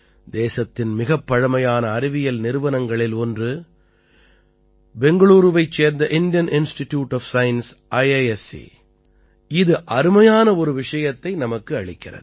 தேசத்தின் மிகப் பழைமையான அறிவியல் நிறுவனங்களில் ஒன்று பெங்களூரூவைச் சேர்ந்த Indian institute of science IISc அதாவது இந்திய அறிவியல் நிறுவனம் இது அருமையான ஒரு விஷயத்தை நமக்கு அளிக்கிறது